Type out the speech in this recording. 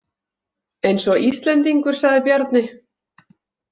Eins og Íslendingur, sagði Bjarni.